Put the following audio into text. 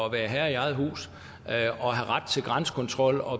at være herre i eget hus og have ret til grænsekontrol og